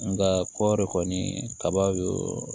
Nka kɔɔri kɔni kaba don